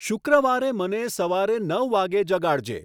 શુક્ર્વારે મને સવારે નવ વાગે જગાડજે